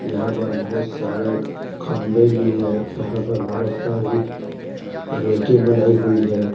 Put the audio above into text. यहां पर बहोत सारे खंभे भी है यहां पर बहोत सारी रेके बनाई हुई है।